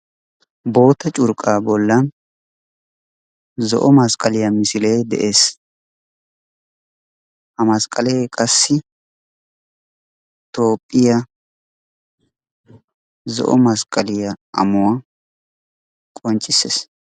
Boottaa curqqa bollan zo'o masqqaliyaa misilee de'ees. Ha masqqalee qassi toophphiyaa zo'o masqqaliyaa ammuwaa qonccissees.